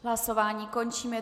Hlasování končím.